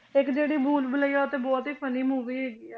ਇੱਕ ਜਿਹੜੀ ਭੂਲ ਭੁਲੱਈਆ ਤੇ ਬਹੁਤ ਹੀ funny movie ਹੈਗੀ ਹੈ।